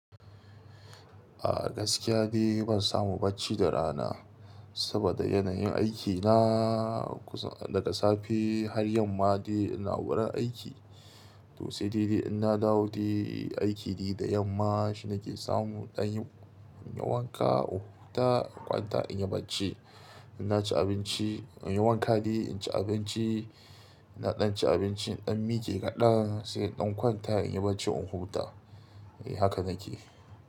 A gaskiya ne ban samu bacci da rana saboda yanayin aikina. Daga safe har yamma dai ina wurin aiki. To sai da ina dawo da aiki da yamma shina ke samu ɗan yi wanka, in huta, kwanta inyi bacci. Ina ci abinci, yawanka dai, inci abinci, ina ɗan ci abinci in ɗan mike kaɗan sai in ɗan kwanta inyi bacci in huta. Haka nake.